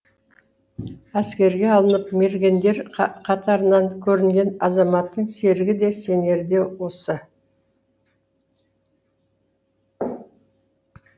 әскерге алынып мергендер қатарынан көрінген азаматтың серігі де сенері де осы